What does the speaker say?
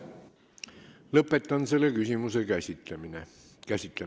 Lõpetan selle küsimuse käsitlemise.